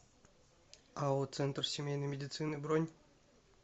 ао центр семейной медицины бронь